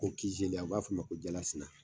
Ko u b'a fɔ o ma ko jala sina